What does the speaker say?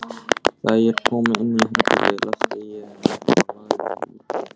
Þegar ég kom inn á herbergið læsti ég að mér og lagðist út af.